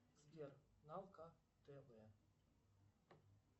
сбер налка тв